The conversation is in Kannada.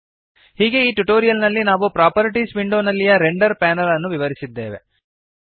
ಹೀಗೆ ಈ ಟ್ಯುಟೋರಿಯಲ್ ನಲ್ಲಿ ನಾವು ಪ್ರಾಪರ್ಟೀಸ್ ವಿಂಡೋನಲ್ಲಿಯ ರೆಂಡರ್ ಪ್ಯಾನಲ್ ಅನ್ನು ವಿವರಿಸಿದ್ದೇವೆ